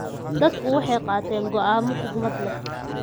Dadku waxay qaateen go'aamo xikmad leh.